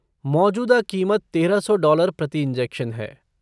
मौजूदा कीमत तेरह सौ डॉलर प्रति इंजेक्शन है।